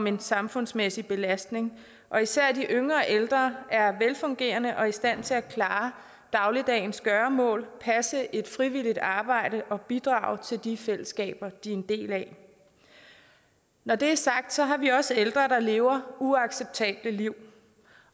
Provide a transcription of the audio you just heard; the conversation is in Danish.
en samfundsmæssig belastning og især de yngre ældre er velfungerende og i stand til at klare dagligdagens gøremål passe et frivilligt arbejde og bidrage til de fællesskaber de er en del af når det er sagt har vi også ældre der lever uacceptable liv